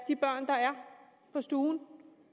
på stuen